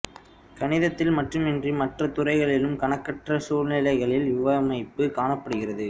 கணிதத்தில் மட்டுமின்றி மற்ற துறைகளிலும் கணக்கற்ற சூழ்நிலைகளில் இவ்வமைப்பு காணப்படுகிறது